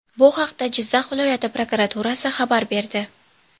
Bu haqda Jizzax viloyati prokuraturasi xabar berdi .